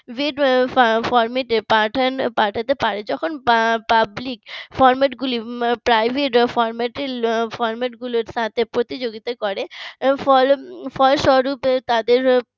rate format পাঠানো পাঠাতে পারে যখন public format গুলি private format~ format গুলোর সাথে প্রতিযোগিতা করে ফলে ফলস্বরূপ তাদের